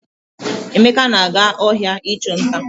Emeka na-aga ohia ichu nta.